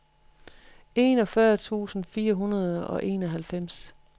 enogfyrre tusind fire hundrede og enoghalvfems